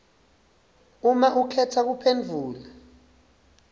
uma ukhetse kuphendvula